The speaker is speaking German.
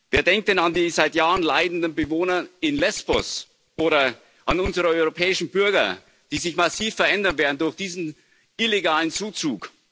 Wer denkt denn an die seit Jahren leidenden Bewohner in Lesbos oder an unsere europäischen Bürger, die sich massiv verändern werden durch diesen illegalen Zuzug?